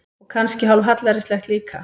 Og kannski hálf hallærislegt líka.